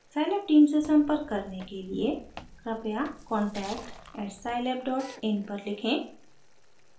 scilab team से संपर्क करने के लिए कृपया contact@scilabin पर लिखें